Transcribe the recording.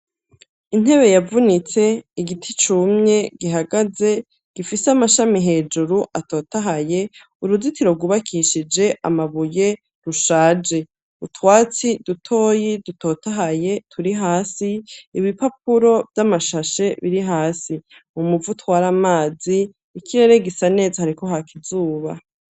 Intebe yavunitse, igiti cumye gihagaze gifise amashami hejuru atotahaye, uruzitiro rwubakishije amabuye rushaje utwatsi dutoyi dutotahaye turi hasi. Ibipapuro vy'amashashe biri hasi mu muvo utwara amazi, ikirere gisa neza hariko haka izuba.